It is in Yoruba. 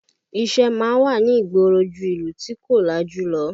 Iṣẹ́ máa ń wà ní ìgboro ju ìlú tí kò lajú lọ